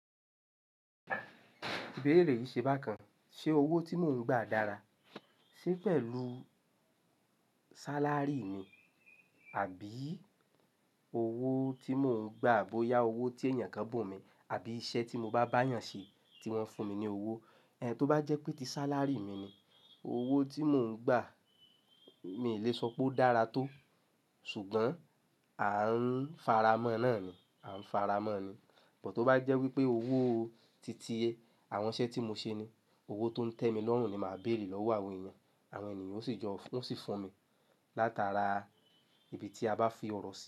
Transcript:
Ìbéèrè yìí ṣe bákan. Ṣé owó tí mò ń gba dára? Ṣé pẹ̀lú sálárì mi, àbí owó tí mò ń gba bóyá owó tí ènìyàn kan bu mi, àbí iṣẹ́ tí mo bá bá ènìyàn ṣe tí wọ́n fún mi ní owó. Tó bá jẹ́ pé ti sálárì mi ni, owó tí mò ń gba, mi lè sọ pé ó dára tó. Ṣùgbọ́n à ń faramọ́ náà ni, à ń faramọ́ ni. Bọ̀ tó bá jẹ́ wípé owó titiye àwọn iṣẹ́ tí mo ṣe ni, owó tó ń tẹ́ mi lọ́hùn ni màá béèrè lọ́wọ́ àwọn èyàn. Àwọn ènìyàn ó sì jọ, ó sì fún mi látara ibi tí a bá fi ọ̀rọ̀ sí.